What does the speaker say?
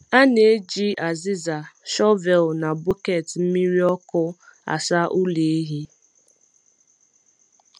A na-eji azịza, shọvel, na bọket mmiri ọkụ asa ụlọ ehi.